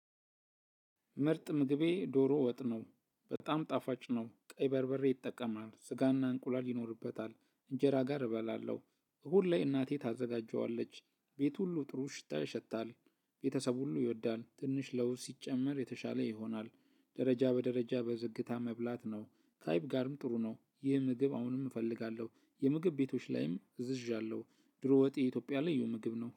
ምርጥ ምግቤ ዶሮ ወጥ ነው። በጣም ጣፋጭ ነው፣ ቀይ በርበሬ ይጠቀማል፣ ሥጋና እንቁላል ይኖርበታል፣ ከእንጀራ ጋር እበላለሁ። ሁሌ እናቴ ታዘጋጀዋለች። ቤት ሁሉ ጥሩ ሽታ ያሸታል ቤተሰብ ሁሉ ይወዳል ትንሽ ለውዝ ሲጨመር የተሻለ ይሆናል ደረጃ በደረጃ በዝግታ መብላት ነው ከአይብ ጋርም ጥሩ ነው ይህ ምግብ አሁንም እፈልጋለሁ የምግብ ቤቶች ላይም እዝዣለሁ ዶሮ ወጥ የኢትዮጵያ ልዩ ምግብ ነው